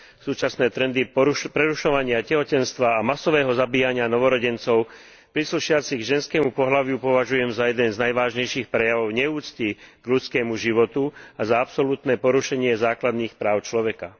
Súčasné trendy prerušovania tehotenstva a masového zabíjania novorodencov príslušiacich k ženskému pohlaviu považujem za jeden z najvážnejších prejavov neúcty k ľudskému životu a za absolútne porušenie základných práv človeka.